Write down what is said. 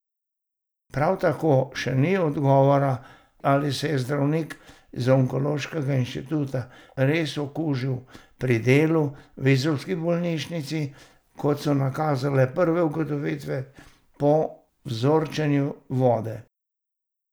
Prav tako še ni odgovora, ali se je zdravnik z Onkološkega inštituta res okužil pri delu v izolski bolnišnici, kot so nakazale prve ugotovitve po vzorčenju vode.